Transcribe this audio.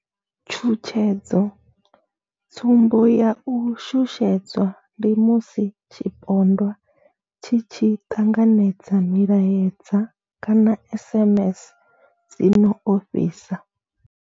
Tshutshedzo tsumbo ya u shushedzwa ndi musi tshipondwa tshi tshi ṱanganedza milaedza kana SMS dzi no ofhisa.